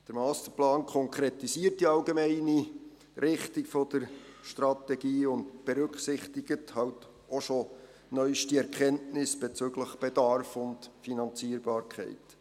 Der Masterplan konkretisiert die allgemeine Richtung der Strategie und berücksichtigt halt auch schon neueste Erkenntnisse bezüglich Bedarf und Finanzierbarkeit.